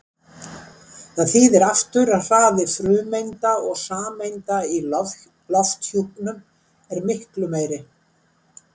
Það þýðir aftur að hraði frumeinda og sameinda í lofthjúpnum er miklu meiri.